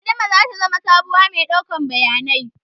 Adama zata zama sabuwar mai ɗaukar bayanai